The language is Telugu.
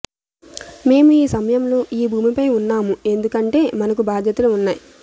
మేము ఈ సమయంలో ఈ భూమిపై ఉన్నాము ఎందుకంటే మనకు బాధ్యతలు ఉన్నాయి